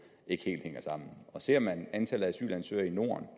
ikke helt hænger sammen og ser man antallet af asylansøgere i norden